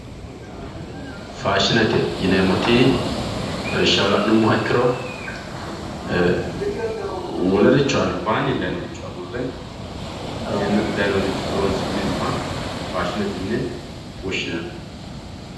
faashinete yineemmoti lawishshaho la'nummoha ikkiro ee wolericho albaanni dayiinoricho agurre xa yannate dayiinoha horonsi'neemmoha faashinete yine woshshinanni.